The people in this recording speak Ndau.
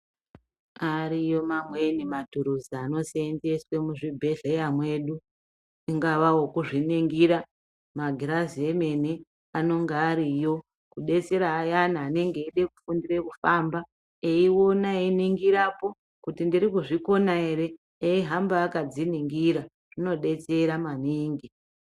Ariyo mwaneni maturuzi anoseenzeswe muzvibhehleya mwedu, ingava okuzviningira, magirazi emene, anonga ariyo kudetsera ayana anenge echida kufundira mufamba eione einingirapo kuti ndirikuzvikona ere, eihamba akadziningira. Zvinodetsera maningi.